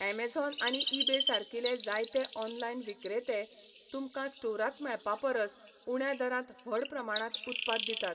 Amazon आनी eBay सारकिले जायते ऑनलायन विक्रेते, तुमकां स्टोरांत मेळपा परस उण्या दरांत व्हड प्रमाणांत उत्पाद दितात.